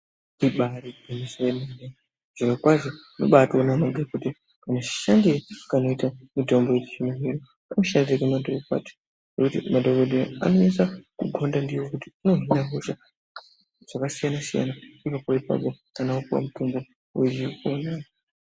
Ibari gwinyiso yemene zviro kwazvo unobatona kuti mushandiroe unoita mitombo yechizvino zvinoinoshande mandorokwati zvekuti madhokodheya anoisa kugonda ndiyo kuti inohina hodha dzakasiyana siyana inopora ipapo kana wapuwa mutombo wechipona.